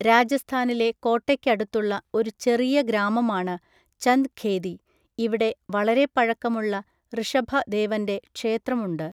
രാജസ്ഥാനിലെ കോട്ടയ്ക്കടുത്തുള്ള ഒരു ചെറിയ ഗ്രാമമാണ് ചന്ദ് ഖേദി, ഇവിടെ വളരെ പഴക്കമുള്ള ഋഷഭ ദേവന്റെ ക്ഷേത്രമുണ്ട്.